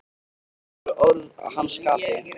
Þetta voru orð að hans skapi.